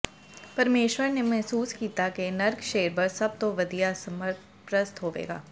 ਪਰਮੇਸ਼ੁਰ ਨੇ ਮਹਿਸੂਸ ਕੀਤਾ ਕਿ ਨਰਕ ਸ਼ੇਰਬਰਸ ਸਭ ਤੋਂ ਵਧੀਆ ਸਰਪ੍ਰਸਤ ਹੋਵੇਗਾ